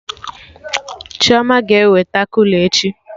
Chioma ga-eweta kula echi